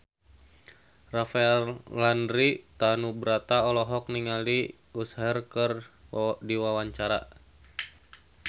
Rafael Landry Tanubrata olohok ningali Usher keur diwawancara